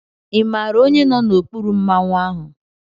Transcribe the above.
Ị maara onye nọ n'okpuru Mmanwu ahụ?